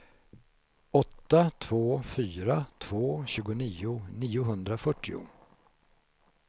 åtta två fyra två tjugonio niohundrafyrtio